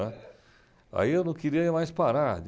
Aí eu não queria mais parar.